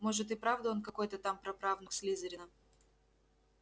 может и правда он какой-то там прапраправнук слизерина